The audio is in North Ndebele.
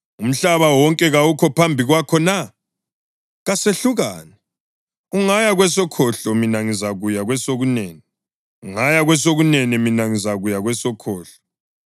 Umhlaba wonke kawukho phambi kwakho na? Kasehlukane. Ungaya kwesokhohlo mina ngizakuya kwesokunene; ungaya kwesokunene mina ngizakuya kwesokhohlo.”